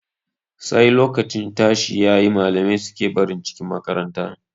Sai lokacin tashi yayi, malamai suke barin cikin makaranta.